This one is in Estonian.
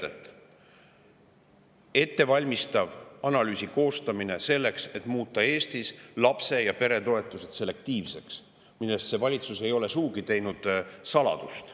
ettevalmistava analüüsi koostamine selleks, et muuta Eestis lapse- ja peretoetused selektiivseks, millest see valitsus ei ole sugugi teinud saladust.